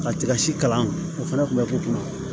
Ka tigasi kalan o fana tun bɛ k'u kunna